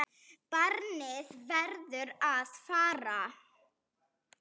Barnið verður að fara.